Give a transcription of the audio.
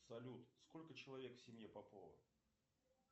салют сколько человек в семье попова